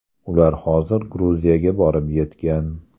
Ular hozir Gruziyaga borib yetgan.